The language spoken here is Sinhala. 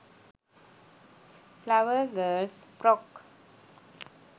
flower girls frock